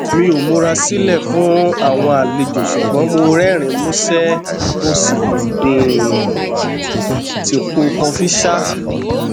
mi o mura silẹ fun awọn alejo sugbọn mo rẹrinin musẹ mo um si po kọfi ṣa